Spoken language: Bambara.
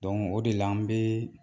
o de la n bɛ